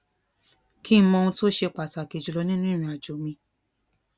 kí n mọ ohun tó ṣe pàtàkì jù lọ nínú ìrìn àjò mi